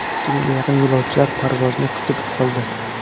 Ikki mingga yaqin yo‘lovchilar parvozni kutib qoldi.